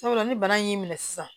Sabula ni bana in y'i minɛ sisan